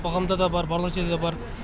қоғамда да бар барлық жерде де бар